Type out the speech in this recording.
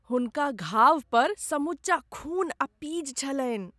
हुनका घावपर समूचा खून आ पीज छलनि।